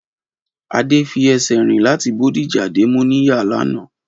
Adé fi esè rìn láti Bódìjà dé Móníyà lanàá